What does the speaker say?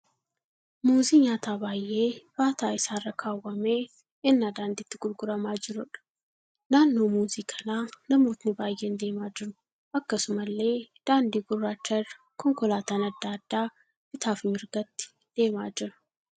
Muuzii nyaataa baay'ee baataa isaa irra kaawwamee cina daandiitti gurguramaa jiruudha. Naannoo muuzii kanaa namootni baay'een deemaa jiru. Akkasumallee daandii gurraacha irra konkolaataan adda addaa bitaa fi mirgatti deemaa jiru.